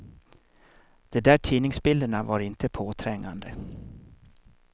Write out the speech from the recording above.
De där tidningsbilderna var inte påträngande.